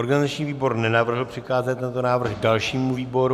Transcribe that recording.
Organizační výbor nenavrhl přikázat tento návrh dalšímu výboru.